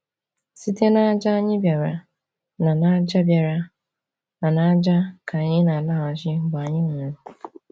Site n’ájá anyị bịara, na n’ájá bịara, na n’ájá ka anyị na-alaghachi mgbe anyị nwụrụ.